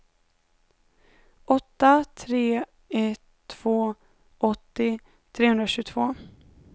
åtta tre ett två åttio trehundratjugotvå